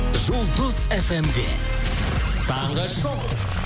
жұлдыз фм де таңғы шоу